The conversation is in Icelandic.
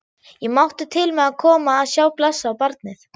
Ég mátti til með að koma að sjá blessað barnið.